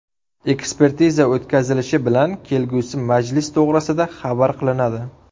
Ekspertiza o‘tkazilishi bilan kelgusi majlis to‘g‘risida xabar qilinadi.